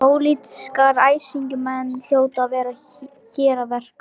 Pólitískir æsingamenn hljóta að vera hér að verki.